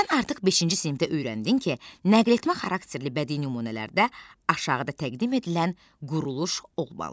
Sən artıq beşinci sinifdə öyrəndin ki, nəqletmə xarakterli bədii nümunələrdə aşağıda təqdim edilən quruluş olmalıdır: